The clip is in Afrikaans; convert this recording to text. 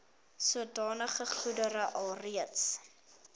sodanige goedere alreeds